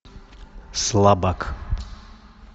слабак